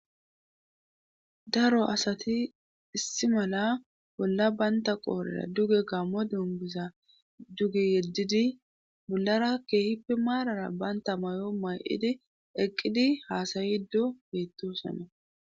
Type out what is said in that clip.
daro asati issi mala bolla baynta qoorera duge gammo duunbisa duge yeddidi bollara keehippi maarara banta may7o may7idi eqqidi haasayido heettosana